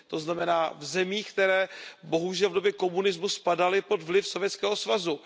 To znamená v zemích, které bohužel v době komunismu spadaly pod vliv Sovětského svazu.